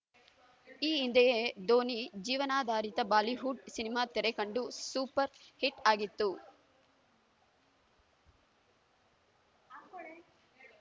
ಈ ಹಿಂದೆಯೇ ಧೋನಿ ಜೀವನಾಧಾರಿತ ಬಾಲಿವುಡ್‌ ಸಿನಿಮಾ ತೆರೆ ಕಂಡು ಸೂಪರ್‌ ಹಿಟ್‌ ಆಗಿತ್ತು